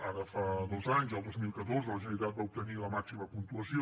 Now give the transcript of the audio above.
ara fa dos anys el dos mil catorze la generalitat va obtenir la màxima puntuació